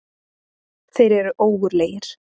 Þeir eru ógurlegir.